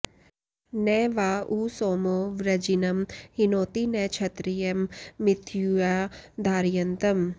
न वा उ॒ सोमो॑ वृजि॒नं हि॑नोति॒ न क्ष॒त्रियं॑ मिथु॒या धा॒रय॑न्तम्